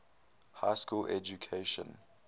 high school education